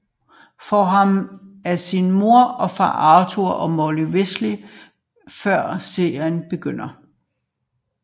Ron Weasley får ham af sin mor og far Arthur og Molly Weasley før serien begynder